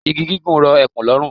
Igi gígùn rọ ekùn lọ́rùn.